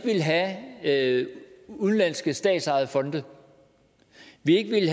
have udenlanske statsejede fonde vi ville